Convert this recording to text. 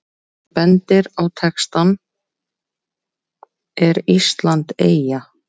Ef hann bendir á textann ER ÍSLAND EYJA?